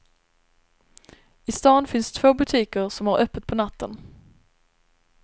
I stan finns två butiker som har öppet på natten.